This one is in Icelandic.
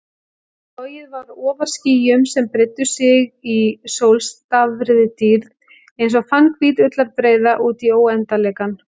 Flogið var ofar skýjum sem breiddu sig í sólstafaðri dýrð einsog fannhvít ullarbreiða útí óendanleikann.